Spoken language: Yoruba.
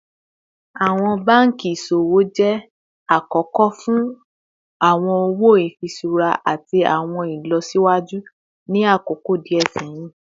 Awọn banki iṣowo jẹ akọkọ fun awọn owo ifiṣura ati awọn ilọsiwaju ni akoko diẹ sẹhin